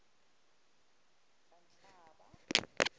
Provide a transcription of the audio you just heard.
kanhlaba